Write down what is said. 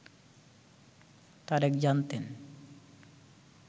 তারেক জানতেন